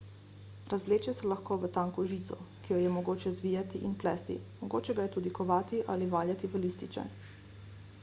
razvleče se lahko v tanko žico ki jo je mogoče zvijati in plesti mogoče ga je tudi kovati ali valjati v lističe